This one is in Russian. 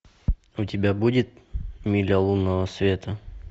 у тебя будет миля лунного света